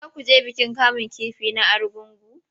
Za ku je bikin kamun kifi na Argungu?